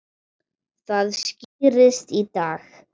Það skýrist í dag.